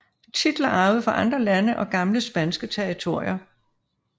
Titler arvet fra andre lande og gamle spanske territorier